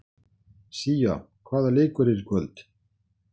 Sía, hvaða leikir eru í kvöld?